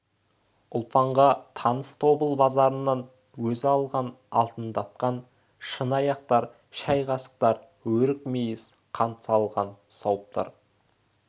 ұлпанға таныс тобыл базарынан өзі алған алтындатқан шыны аяқтар шай қасықтар өрік мейіз қант салған сауыттар